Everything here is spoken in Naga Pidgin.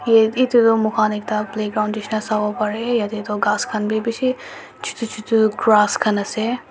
Av tu moikhan ek ta playground nisina sabo pare yateh tu grass khan besi chutu chutu grass ase.